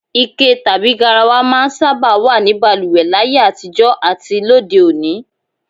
Ike tàbí garawa máa ń sábà wà ní balùwè láyé àtijó̩ àti lóde òní